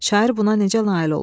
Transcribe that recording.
Şair buna necə nail olub?